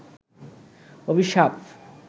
অভিশাপ